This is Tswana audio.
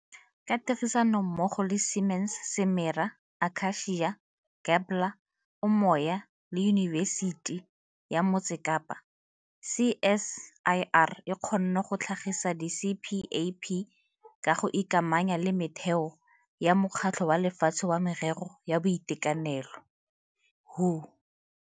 Ka tirisanommogo le Siemens, Simera, Aka-cia, Gabler, Umoya le Yunibesiti ya Motse Kapa, CSIR e kgonne go tlhagisa di-CPAP ka go ikamanya le metheo ya Mokgatlho wa Lefatshe wa Merero ya Boitekanelo WHO.